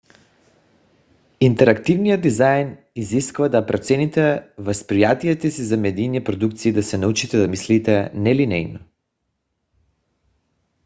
интерактивният дизайн изисква да преоцените възприятията си за медийна продукция и да се научите да мислите нелинейно